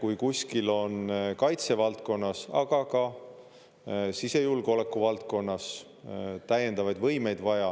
Kui kuskil on kaitsevaldkonnas, aga ka sisejulgeoleku valdkonnas täiendavaid võimeid vaja,